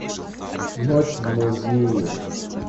ночь в музее